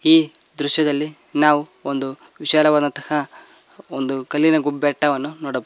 ಈ ದೃಶ್ಯದಲ್ಲಿ ನಾವು ಒಂದು ವಿಶಾಲವಾದಂತಹ ಒಂದು ಕಲ್ಲಿನ ಗು ಬೆಟ್ಟವನ್ನು ನೋಡಬಹುದು.